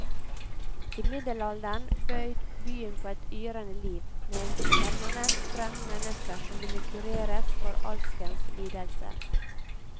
I middelalderen bød byen på et yrende liv, med en permanent strøm mennesker som ville kureres for alskens lidelser.